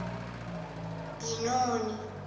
binoni